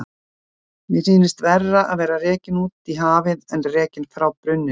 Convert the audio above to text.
Mér sýnist verra að vera rekinn út í hafið en rekinn frá brunninum